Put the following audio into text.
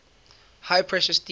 high pressure steam